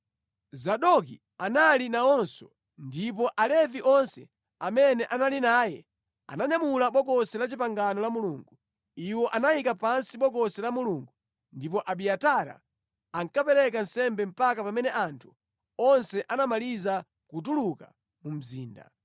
Zadoki anali nawonso, ndipo Alevi onse amene anali naye ananyamula Bokosi la Chipangano la Mulungu. Iwo anayika pansi Bokosi la Mulungulo ndipo Abiatara ankapereka nsembe mpaka pamene anthu onse anamaliza kutuluka mu mzinda.